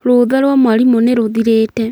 Rutha rwa mwarimũ nĩ rũthirĩte.